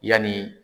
Yanni